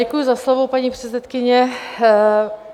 Děkuji za slovo, paní předsedkyně.